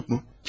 Məktub mu?